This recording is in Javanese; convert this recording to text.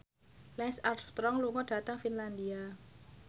Lance Armstrong lunga dhateng Finlandia